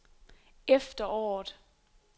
efteråret